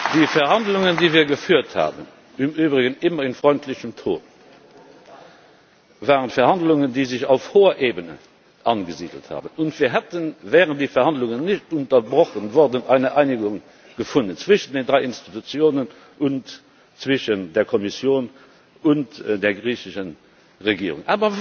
Die Verhandlungen, die wir geführt haben im Übrigen immer in freundlichem Ton waren Verhandlungen, die sich auf hoher Ebene angesiedelt haben, und wir hätten, wären die Verhandlungen nicht unterbrochen worden, eine Einigung gefunden zwischen den drei Institutionen und zwischen der Kommission und der griechischen Regierung.